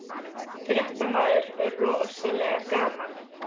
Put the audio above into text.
Fréttamaður: Rosalega gaman?